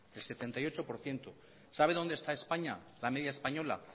el setenta y ocho por ciento sabe dónde está españa